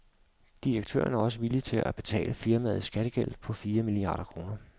Direktøren er også villig til at betale firmaets skattegæld på fire milliarder kroner.